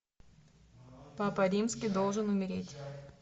папа римский должен умереть